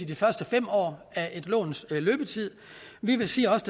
de første fem år af et låns løbetid vi siger også